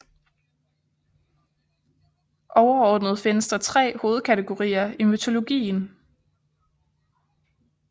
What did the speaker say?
Overordnet findes der tre hovedkategorier i mytologien